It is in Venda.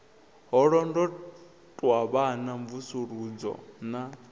ha londotwa vhana mvusuludzo na